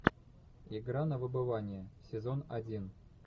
игра на выбывание сезон один